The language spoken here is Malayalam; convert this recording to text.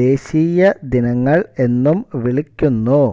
ദേശീയ ദിനങ്ങൾ എന്നും വിളിക്കുന്നു